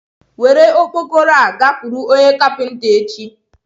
Were okpokoro a gakwuru onye kapinta echi.